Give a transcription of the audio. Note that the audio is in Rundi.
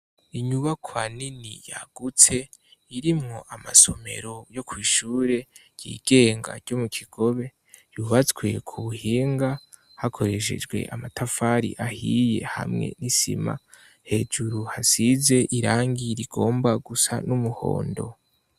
Inyubakwa nini yagutse irimwo amasomero yo kw'ishure ryigenga ryo mu kigobe yubatswe ku buhinga hakoreshejwe amatafari ahiye hamwe n'isima hejuru hasize irangi rigomba gusa n'umuhondo.